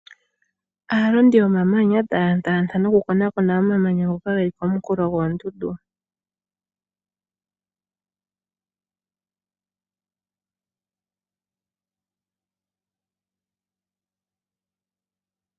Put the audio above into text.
Aalondi yomamanya taya tala nokukonakona omamanya ngoka ge li konkulo goondundu.